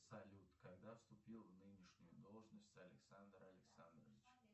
салют когда вступил в нынешнюю должность александр александрович